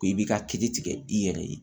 Ko i b'i ka kiiri tigɛ i yɛrɛ ye